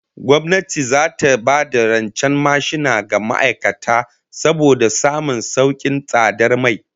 Gwamnati zata ba da rancen mashina ga ma'aikata saboda samun saukin tsadar mai